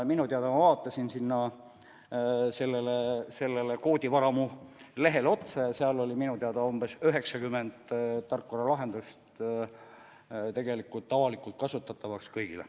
Ma vaatasin seda koodivaramu lehte ja hetkel on seal minu teada umbes 90 tarkvaralahendust avalikult kõigile kasutamiseks.